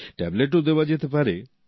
ট্যাবলেটও দেওয়া যেতে পারে